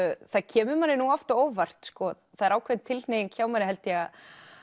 það kemur manni oft á óvart það er ákveðin tilhneiging hjá manni held ég að